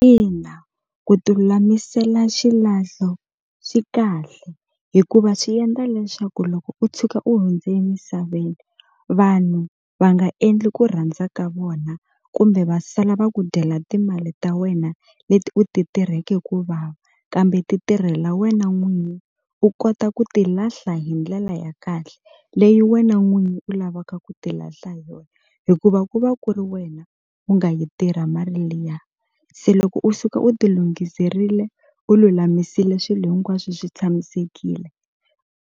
Ina ku ti lulamisela xilahlo swi kahle hikuva swi endla leswaku loko u tshuka u hundze emisaveni vanhu va nga endli ku rhandza ka vona kumbe va sala va ku dyela timali ta wena leti u ti tirheke ku vava kambe ti tirhela wena n'winyi u kota ku ti lahla hi ndlela ya kahle leyi wena n'winyi u lavaka ku ti lahla hi yona hikuva ku va ku ri wena u nga yi tirha mali liya se loko u suka u ti lunghiserile u lulamisile swilo hinkwaswo swi tshamisekile